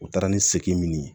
U taara ni segin min ye